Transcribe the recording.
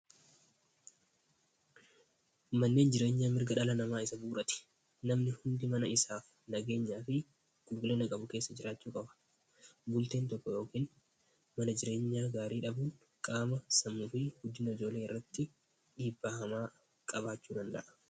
manneen jireenya mirga dhala namaa isa buurate namni hundi mana isaa nageenyaa fi qulqullina qabu keessa jiraachuu qaba bulteen tokko yookin mana jireenyaa gaarii dhabuun qaama samuufi hojiin irratti dhiibbaa hamaa qabaachuu danda'a